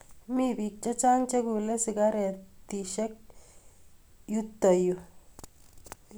mii bik chichang chekule sigaretiek yutoyuu